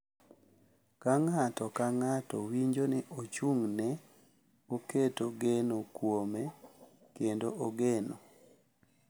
Ka ng’ato ka ng’ato winjo ni ochung’ne, oketo geno kuome, kendo ogeno.